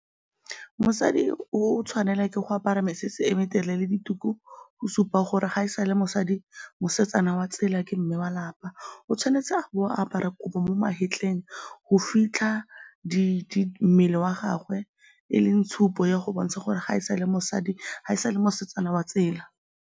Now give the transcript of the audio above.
Mosadi o tshwanelwa ke go apara mesese e metelele, dituku, go supa gore ga e sa le mosadi, mosetsana wa tsela, ke mme wa 'lapa. O tshwanetse go apara kobo mo magetleng go fitlha mmele wa gagwe e leng tshupo ya go bontsha gore ga e sa le mosadi, ga e sa le mosetsana wa tsela.